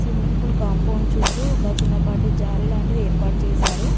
Swimming pool compound చుట్టూ ఒక చిన్నపాటి జారి లాంటిది ఏర్పాటు చేశారు.